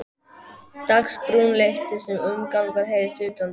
Dagsbrún lyftist og umgangur heyrðist utandyra.